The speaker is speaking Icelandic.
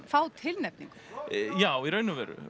fá tilnefningu já í raun og veru